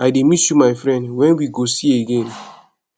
i dey miss you my friend when we go see again